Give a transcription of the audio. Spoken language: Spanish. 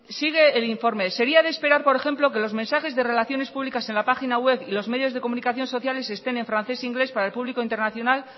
sigue el informe sería de esperar por ejemplo que los mensajes de relaciones públicas en la página web y los medios de comunicación sociales estén en francés e inglés para el público internacional